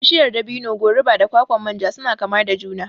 Bishiyar dabino, goruba da kwakwan manja suna kama da juna